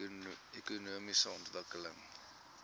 ekonomiese ontwikkeling